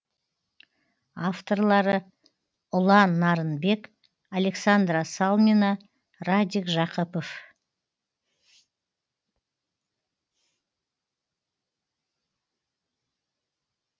авторлары ұлан нарынбек александра салмина радик жақыпов